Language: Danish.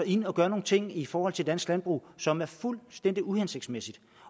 ind og gør nogle ting i forhold til dansk landbrug som er fuldstændig uhensigtsmæssige